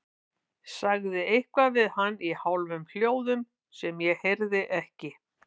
Sagði eitthvað við hann í hálfum hljóðum sem ég heyrði ekki.